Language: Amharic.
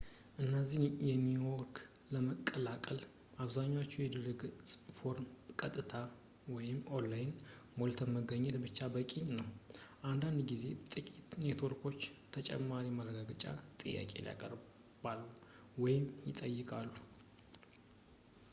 እነዚህን ኔትወርክ ለመቀላቀል በአብዛኛው የድረገፅ ፎርም በቀጥታ online ሞልቶ መገኘት ብቻ በቂ ነው፤ አንዳንድ ጊዜ ጥቂት ኔትወርኮች ተጨማሪ ማረጋገጫ ጥያቄ ያቀርባሉ ወይም ይጠይቃሉ